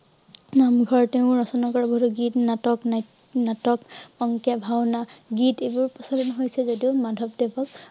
নামঘৰ তেওঁ ৰচনা কৰিব গীত, নাটক, নাট~নাটক, অংকীয়া ভাওনা, গীত এইবোৰ প্ৰচলিত হৈছে যদিও মাধৱদেৱক